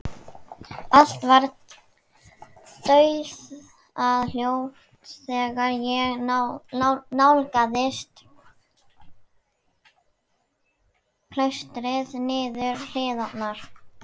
Allt var dauðahljótt þegar ég nálgaðist klaustrið niður hlíðina.